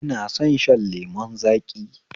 Ina son shan lemun zaƙi